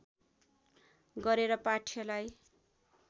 गरेर पाठ्यलाई